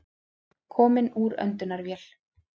Kominn úr öndunarvél